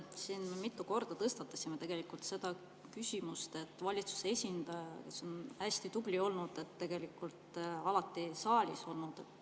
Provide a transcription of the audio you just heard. Siin me mitu korda tõstatasime tegelikult küsimuse, et valitsuse esindaja on hästi tubli olnud, tegelikult alati saalis olnud.